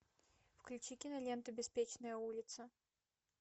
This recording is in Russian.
включи киноленту беспечная улица